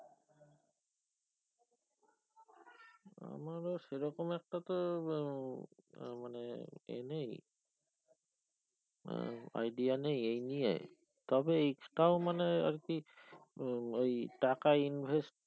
আমারও সে রকম একটা তো আহ মানে এ নেই idea নেই এই নিয়ে তবে তও মানে আর কি ওই টাকা invest